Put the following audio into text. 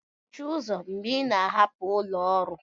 mechie ụzọ mgbe ị na-ahapụ ụlọ ọrụ